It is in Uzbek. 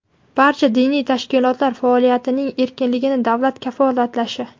barcha diniy tashkilotlar faoliyatining erkinligini davlat kafolatlashi,.